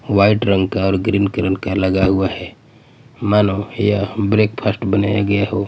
White रंग का और ग्रीन रंग का लगा हुआ हैं मानो यह ब्रेकफ़ास्ट बनाया गया हो।